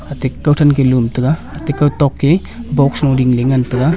ate kau then kah lum taga ate kau tok ke box lo dingley ngantaga.